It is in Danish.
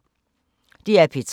DR P3